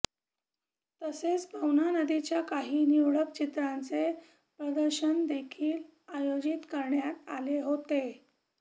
तसेच पवना नदीच्या काही निवडक चित्रांचे प्रदर्शन देखील आयोजित करण्यात आले होते